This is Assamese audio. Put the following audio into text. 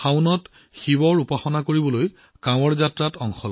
শাওনত শিৱ পূজা কৰিবলৈ বহু ভক্তই কানৱাড় যাত্ৰা কৰে